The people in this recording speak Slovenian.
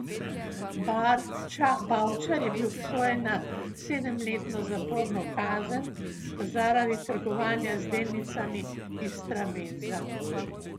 Bavčar je bil obsojen na sedemletno zaporno kazen zaradi trgovanja z delnicami Istrabenza.